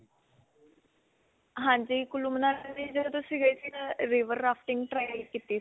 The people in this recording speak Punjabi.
ਹਾਂਜੀ ਕੁੱਲੂ, ਮਨਾਲੀ ਗਈ ਸੀ ਮੈ river rafting try ਕੀਤੀ ਸੀ.